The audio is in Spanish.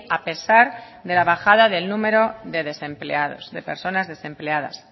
a pesar de la bajada del número de desempleados de personas desempleadas